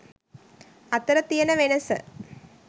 අතර තියන වෙනස.